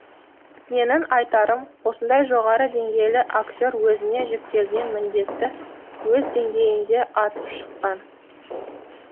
менің айтарым осындай жоғары деңгейлі актер өзіне жүктелген міндетті өз деңгейінде атып шықты